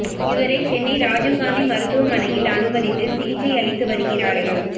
இவரை சென்னை ராஜீவ் காந்தி மருத்துவமனையில் அனுமதித்து சிகிச்சை அளித்து வருகிறார்கள்